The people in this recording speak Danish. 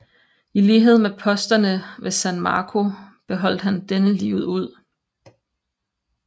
I lighed med posterne ved San Marco beholdt han denne livet ud